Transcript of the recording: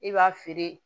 I b'a feere